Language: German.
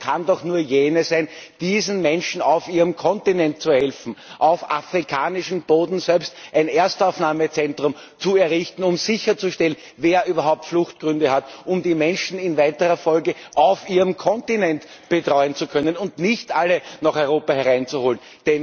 Die Lösung kann doch nur jene sein, diesen Menschen auf ihrem Kontinent zu helfen, auf afrikanischem Boden selbst ein Erstaufnahmezentrum zu errichten, um festzustellen, wer überhaupt Fluchtgründe hat, um die Menschen in weiterer Folge auf ihrem Kontinent betreuen zu können, und nicht alle nach Europa hereinzuholen.